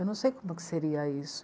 Eu não sei como que seria isso.